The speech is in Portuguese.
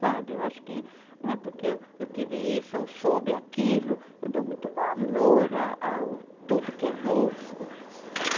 Sabe, eu acho que não é porque eu, eu tive isso ou soube aquilo, eu dou muito valor a, ao tudo que é novo.